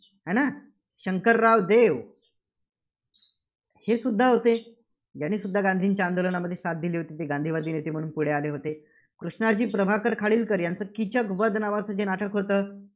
आहे ना? शंकरराव देव हेसुद्धा होते, यांनीसुद्धा गांधीजींच्या आंदोलनामध्ये साथ दिली होती. जे गांधीवादी नेते म्हणून पुढे आले होते. कृष्णाजी प्रभाकर खाडीलकर यांच किचकवध नावचं जे नाटक होतं,